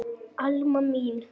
Alma mín.